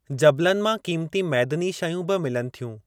जबलनि मां क़ीमती मैदनी शयूं बि मिलनि थियूं।।